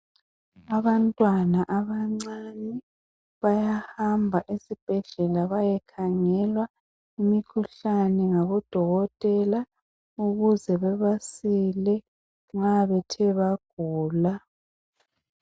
Abantwana abancane bayahamba esibhedlela bayekhangelwa imikhuhlane ngabodokotela ukuze bebasile nxa bethe bagula.